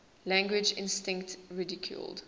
language instinct ridiculed